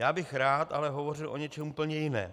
Já bych ale rád hovořil o něčem úplně jiném.